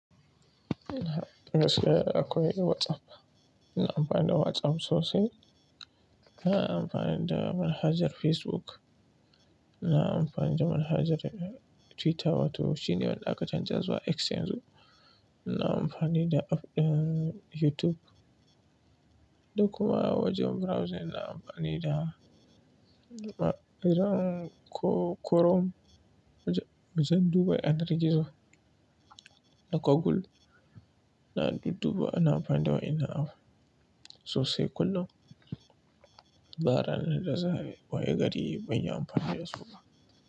Daga gaske akwai WhatsApp, ina amfani da WhatsApp sosai. Ina amfani da manhajar Facebook, ina amfani da manhajar Twitter wato shi ne wadda aka canza zuwa X yanzu. Ina amfani da app ɗin YouTube. Duk kuma wajen browsing ina amfani da iron ko Chrome wajen duba yanar gizo na Google. Na dudduba ina amfani da wainnan app sosai kullum ba ranar da za a yi ba, waye gari ban yi amfani da su ba.